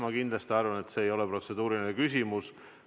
Ma kindlasti arvan, et see ei ole protseduuriline küsimus.